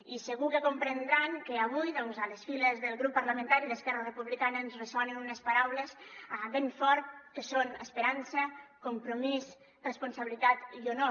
i segur que comprendran que avui doncs a les files del grup parlamentari d’esquerra republicana ens ressonen unes paraules ben fort que són esperança compromís responsabilitat i honor